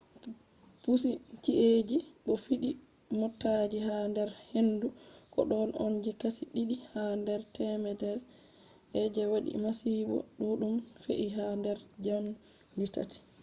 duluruji ɗoffi leɗɗe bo pusi ci’eji bo fiɗi motaji ha nder hendu. ko ɗon on je kashi ɗiɗi ha nder temere je waɗi masibo ɗuɗɗum fe’i ha nder njamdi tati